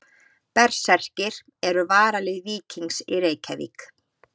Berserkir eru varalið Víkings í Reykjavík.